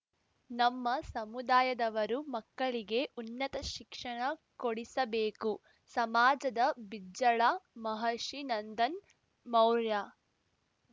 ನಮ್ಮ ಸಮುದಾಯದವರು ಮಕ್ಕಳಿಗೆ ಉನ್ನತ ಶಿಕ್ಷಣ ಕೊಡಿಸಬೇಕು ಸಮಾಜದ ಬಿಜ್ಜಳ ಮಹರ್ಷಿ ನಂದನ್‌ ಮೌರ್ಯ